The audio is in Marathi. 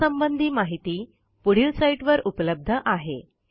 यासंबंधी माहिती पुढील साईटवर उपलब्ध आहे